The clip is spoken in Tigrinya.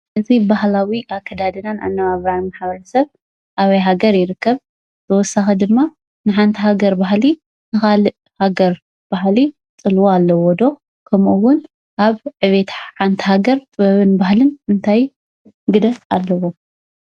እዚ ባህላዊ አከዳድናን አነነባብራን ማሕበረሰብ አበይ ሃገር ይርከብ? ብተወሳኺ ድማ ንሓንቲ ሃገር ባህሊ ንካሊእ ሃገር ባህሊ ፅልዋ አለዎ ዶ ?ከምኡ እውን አብ ዕብየት ሓንቲ ሃገር ጥበብን ባህልን እንታይ ግደ እለዎ?